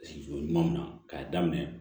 Sigi ɲuman min na k'a daminɛ